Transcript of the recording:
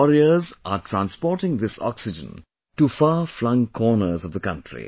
Our warriors are transporting this oxygen to farflung corners of the country